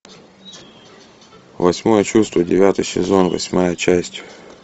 восьмое чувство девятый сезон восьмая часть